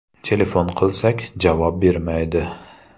Telefon qilsak, javob bermaydi.